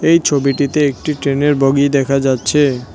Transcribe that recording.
এ ছবিটিতে একটি ট্রেনের বগি দেখা যাচ্ছে।